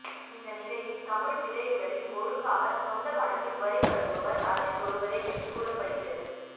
இந்த நிலையில் தமிழ் திரையுலகில் ஒழுங்காக சொந்த பணத்தில் வரி கட்டுபவர் அஜித் ஒருவரே என்று கூறப்படுகிறது